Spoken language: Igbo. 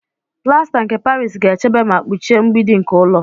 Plasta nke Paris ga-echebe ma kpuchie mgbidi nke ụlọ.